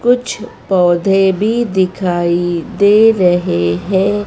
कुछ पौधे भी दिखाई दे रहे है।